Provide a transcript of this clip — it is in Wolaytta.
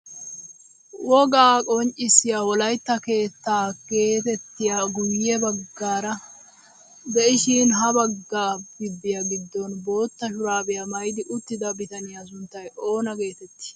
Wogaa qonccisiyaa wolaytta keettaa getettiyaagee guye baggaara de'ishin ha bagga gibiyaa giddon bootta shuraabiyaa maayidi uttida bitaniyaa sunttay oona getettii?